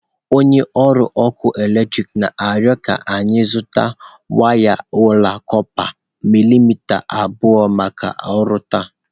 Onye ọrụ ọkụ eletrik na-arịọ ka anyị zụta waya ọla kọpa milimita abụọ maka ọrụ taa.